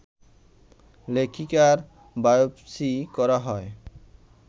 লেখিকার biopsy করা হয়